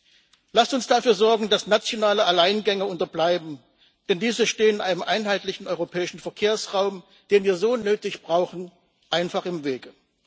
Lassen Sie uns dafür sorgen, dass nationale Alleingänge unterbleiben, den diese stehen einem einheitlichen europäischen Verkehrsraum, denn wir so nötig brauchen, einfach im Wege.